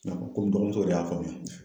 Komi n dɔgɔmuso yɛrɛ y'a faamuya